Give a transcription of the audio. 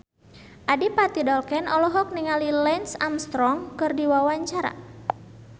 Adipati Dolken olohok ningali Lance Armstrong keur diwawancara